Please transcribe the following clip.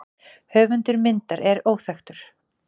Höfundur myndar er óþekktur.